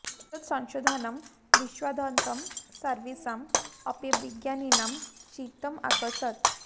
एतत् संशोधनं विश्वाद्यन्तं सर्वेषाम् अपि विज्ञानिनां चित्तम् आकर्षत्